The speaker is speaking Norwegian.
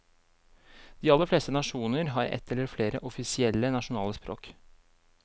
De aller fleste nasjoner har ett eller flere offisielle nasjonale språk.